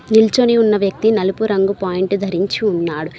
నిల్చొని ఉన్న వ్యక్తి నలుపు రంగు పాయింట్ ధరించి ఉన్నాడు.